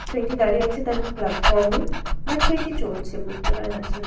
Train -টি দাঁড়িয়ে আছে তার প্লাটফর্ম -এ বা ট্রেন -টি চলছে বুঝতে পারা যাচ্ছে না।